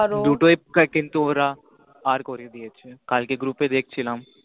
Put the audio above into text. দুটোই করে কিন্তু ওরা পার করে দিয়েছে কালকে গ্রু group এ দেখছিলাম